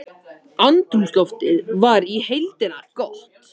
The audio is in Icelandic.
Andrúmsloftið var í heildina gott